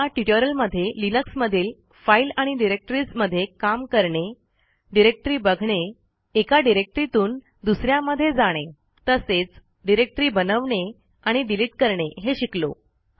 या ट्युटोरियलमध्ये लिनक्समधील फाईल आणि डिरेक्टरीज मधे काम करणे डिरेक्टरी बघणे एका डिरेक्टरीतून दुसऱ्यामध्ये जाणे तसेच डिरेक्टरी बनवणे आणि डिलीट करणे हे शिकलो